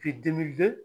K'i